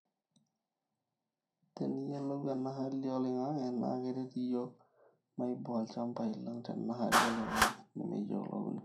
tenikiyiolou ena hali oloingange ,naa keret iyiok maiboo ilchambai lang tena hali oloingange nemeyiolouni